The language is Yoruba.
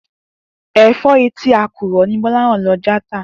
È̩fó̩ etí àkùrò̩ ni Gbó̩láhàn lo̩ já tà